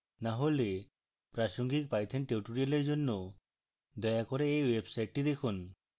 না হলে প্রাসঙ্গিক python tutorials জন্য দয়া করে এই ওয়েবসাইটটি দেখুন